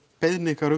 beiðni ykkar